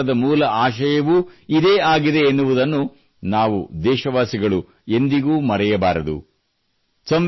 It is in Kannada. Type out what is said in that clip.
ನಮ್ಮ ಸಂವಿಧಾನದ ಮೂಲ ಆಶಯವೂ ಇದೇ ಆಗಿದೆ ಎನ್ನುವುದನ್ನು ನಾವು ದೇಶವಾಸಿಗಳು ಎಂದಿಗೂ ಮರೆಯಬಾರದು